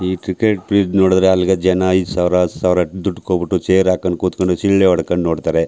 ಈ cricket fees ನೋಡಿದ್ರೆ ಅಲ್ ಗ ಜನ ಐದು ಸಾವಿರ ಹತ್ತ್ ಸಾವಿರ ದುಡ್ಡ್ ಕೊಟ್ಟು ಬಿಟ್ಟು ಚೇರ್ ಹಾಕೊಂಡ್ ಕುತ್ ಕೊಂಡು ಸಿಳ್ಳೆ ಹೊಡಕೊಂಡ್ ನೋಡ್ತರೆ.